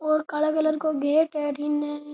और काला कलर का गेट है अठीने।